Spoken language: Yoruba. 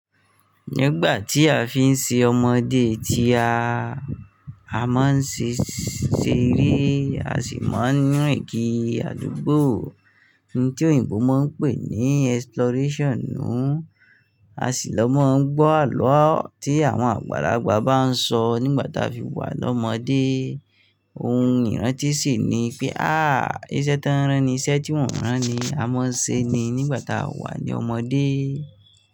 Nígbà tí a fi ń ṣe ọmọdé tí a, a máa ń ṣe eré, a sì máa ń rin kiri àdúgbò, ohun tí òyìnbó máa ń pè ní exploration nùú, a sì lọ máa ń gbọ́ àlọ́ tí àwọn àgbàlagbà bá ń sọ nígbà tí a fi wà lọ́mọdé. Ohun ìrántí sì ni pé àá, iṣẹ́ tán rán ni iṣẹ́ tí wọ́n o rán ni, a máa ń ṣe ní nígbà tá a wà ní ọmọdé.